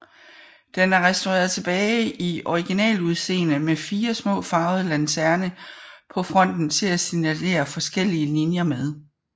Den er restaureret tilbage til originaludseende med fire små farvede lanterne på fronten til at signalisere forskellige linjer med